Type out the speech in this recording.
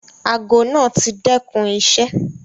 Àago naá ti dẹkun iṣẹ.